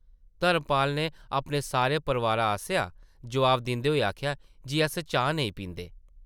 धर्मपाल नै अपने सारे परोआर आसेआ जवाब दिंदे होई आखेआ ,‘‘ जी अस चाह् नेईं पींदे ।’’